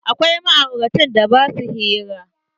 Akwai ma'auratan da ba sua hira.